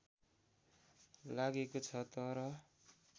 लागेको छ तर